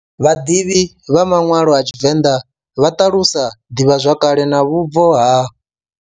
Vhaḓivhi vha manwalo a tshivenḓa vha talusa ḓivhazwakale na vhubvo ha.